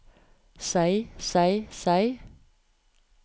seg seg seg